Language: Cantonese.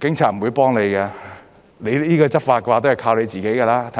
警察是不會幫忙的，執法也是要靠自己的，對吧？